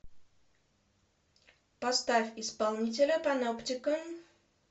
поставь исполнителя паноптикон